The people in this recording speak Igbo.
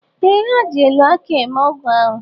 Ee, ha ji elu akị eme ọgwụ ahụ.